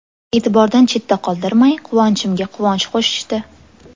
E’tibordan chetda qoldirmay, quvonchimga quvonch qo‘shishdi.